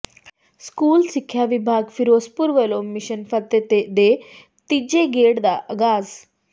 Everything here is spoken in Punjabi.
ਸਕੂਲ ਸਿੱਖਿਆ ਵਿਭਾਗ ਫਿਰੋਜ਼ਪੁਰ ਵੱਲੋਂ ਮਿਸ਼ਨ ਫਤਿਹ ਦੇ ਤੀਜੇ ਗੇੜ ਦਾ ਆਗਾਜ਼